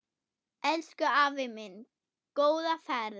Elsku afi minn, góða ferð.